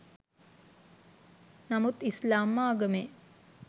නමුත් ඉස්‌ලාම් ආගමේ